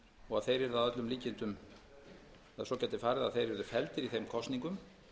og að svo gæti farið að þeir yrðu felldir í þeim kosningum